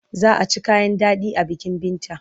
Za a ci kayan daɗi a bikin Binta.